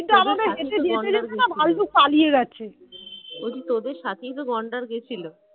বলছি তোদের সাথেই তো গন্ডার গেছিল